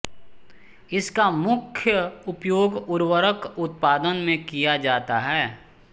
इसका मुख्य उपयोग उर्वरक उत्पादन में किया जाता है